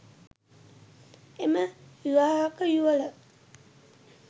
එම විවාහක යුවළ